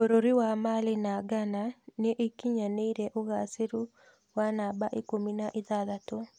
Bũrũri wa Mali na Ghana nĩikinyanĩrie uũgaciru wa namba ikũmi na ithathatũ